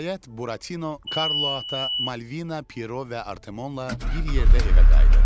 Nəhayət, Buratino, Karlo Ata, Malvina, Piero və Artemonla bir yerdə evə qayıdır.